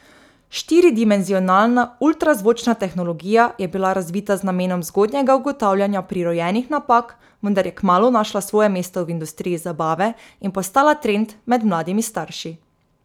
Štiridimenzionalna ultrazvočna tehnologija je bila razvita z namenom zgodnjega ugotavljanja prirojenih napak, vendar je kmalu našla svoje mesto v industriji zabave in postala trend med mladimi starši.